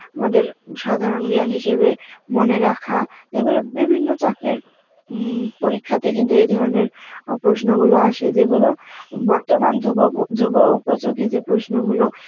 আমাদের সাধারণ জ্ঞান হিসেবে মনে রাখা, এ গুলো বিভিন্য চাকরির উম পরীক্ষাতে কিন্তু এ ধরনের আ প্রশ্ন গুলো আসে যেগুলো বর্তমান যুব, যুব উপযুগী যে প্রশ্ন গুলো